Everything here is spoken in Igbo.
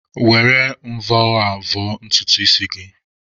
Were mvọ a vọọ ntutu isi gị.